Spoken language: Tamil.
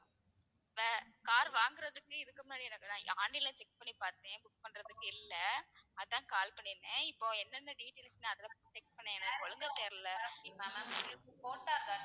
car வாங்குறதுக்கு இதுக்கு முன்னாடி online ல check பண்ணி பாத்தேன் book பண்றதுக்கு இல்ல அதான் call பண்ணிருந்தேன் இப்போ என்னென்ன details லா அதுல போய் check பண்ணேன் ஒழுங்கா தெரியல honda car